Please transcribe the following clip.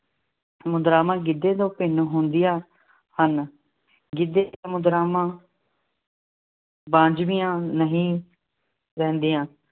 ਮੁਦਰਾਵਾਂ ਗਿੱਧੇ ਤੋਂ ਭਿੰਨ ਹੁੰਦੀਆਂ ਹਨ। ਗਿੱਧੇ ਦੀਆਂ ਮੁਦਰਾਵਾਂ ਬੱਝਵੀਆਂ ਨਹੀਂ ਰਹਿੰਦੀਆਂ